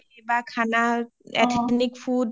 বা খানা ethnic food